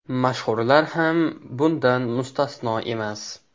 Mashhurlar ham bundan mustasno emas.